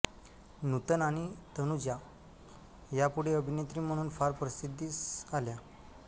नूतन आणि तनुजा या पुढे अभिनेत्री म्हणून फार प्रसिद्धिस आल्या